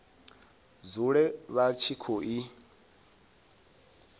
dzule vha tshi khou i